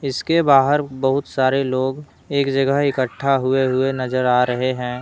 इसके बाहर बहुत सारे लोग एक जगह इकट्ठा हुए हुए नजर आ रहे हैं।